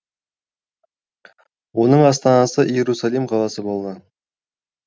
оның астанасы иерусалим қаласы болды